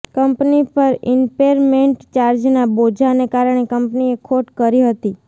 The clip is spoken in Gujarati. કંપની પર ઈન્પેરમેન્ટ ચાર્જના બોજાને કારણે કંપનીએ ખોટ કરી હતી